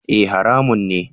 E! haramun ne.